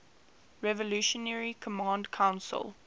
revolutionary command council